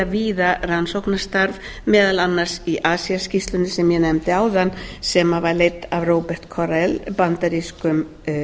víða rannsóknarstarf meðal annars í acia skýrslunni sem ég nefndi áðan sem var leidd af robert correll bandarískum